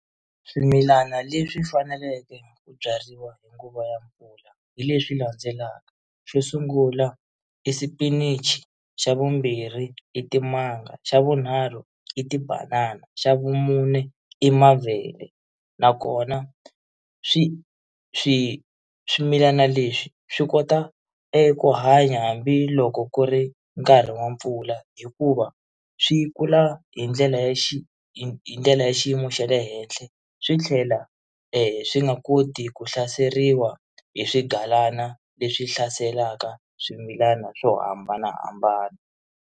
Swimilana leswi faneleke ku byariwa hi nguva ya mpfula hi leswi landzelaka, xo sungula i xipinichi, xa vumbirhi i timanga, xa vunharhu i tibanana, xa vumune i mavele na kona swi swi swimilana leswi swi kota eku hanya hambiloko ku ri nkarhi wa mpfula hikuva swi kula hi ndlela ya xi hi ndlela ya xiyimo xa le henhla swi tlhela swi nga koti ku hlaseriwa hi swigalana leswi hlaselaka swimilana swo hambanahambana.